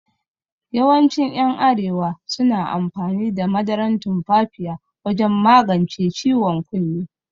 Yawancin yan arewa suna amfani da madaran tumfafiya wajan magance ciwon kunne